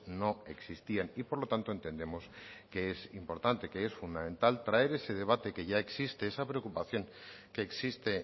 no existían y por lo tanto entendemos que es importante que es fundamental traer ese debate que ya existe esa preocupación que existe